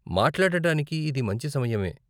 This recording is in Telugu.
మాట్లాడానికి ఇది మంచి సమయమే.